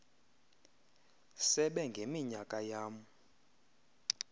sebe ngeminyaka yam